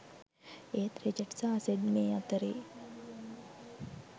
ඒත් රිචඩ් සහ සෙඩ් මේ අතරෙ